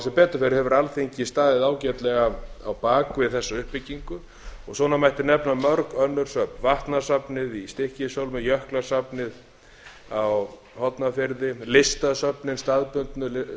sem betur fer hefur alþingi staðið ágætlega á bak við þessa uppbyggingu svona mætti nefna mörg önnur söfn vatnasafnið í stykkishólmi jöklasafnið á hornafirði listasöfnin staðbundnu